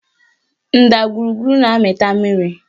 Ndagwurugwu na-amịta mmiri